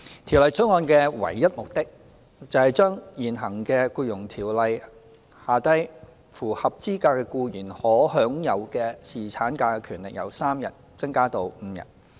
《條例草案》的唯一目的，是將現行在《僱傭條例》下符合資格的僱員可享有的侍產假權利由3天增加至5天。